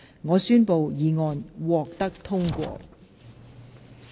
我宣布議案獲得通過。